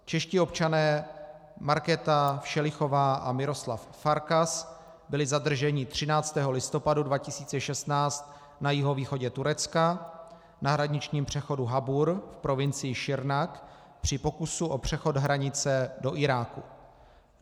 Čeští občané, Markéta Všelichová a Miroslav Farkas, byli zadrženi 13. listopadu 2016 na jihovýchodě Turecka, na hraničním přechodu Habur v provincii Sirnak, při pokusu o přechod hranice do Iráku.